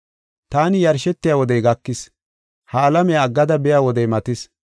Taani yarshetiya wodey gakis; ha alamiya aggada biya wodey matis.